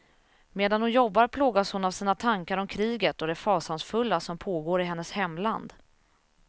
Medan hon jobbar plågas hon av sina tankar om kriget och det fasansfulla som pågår i hennes hemland.